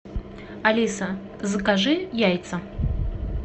алиса закажи яйца